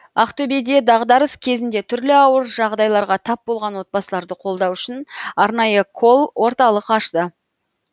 ақтөбеде дағдарыс кезінде түрлі ауыр жағдайларға тап болған отбасыларды қолдау үшін арнайы колл орталық ашты